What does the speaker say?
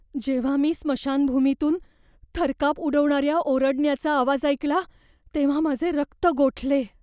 जेव्हा मी स्मशानभूमीतून थरकाप उडवणाऱ्या ओरडण्याचा आवाज ऐकला तेव्हा माझे रक्त गोठले.